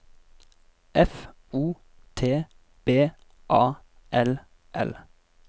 F O T B A L L